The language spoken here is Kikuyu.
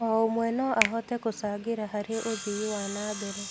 O ũmwe no ahote gũcangĩra harĩ ũthii wa na mbere.